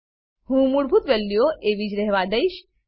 હું મૂળભૂત વેલ્યુઓને એવી જ રહેવા દઈશ